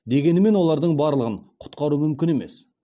дегенмен олардың барлығын құтқару мүмкін емес